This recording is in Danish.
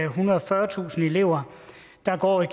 ethundrede og fyrretusind elever der går i